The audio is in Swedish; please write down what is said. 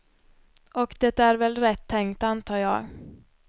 Och det är väl rätt tänkt antar jag.